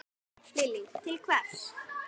Lillý: Til hvers?